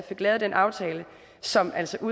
lavet den aftale som altså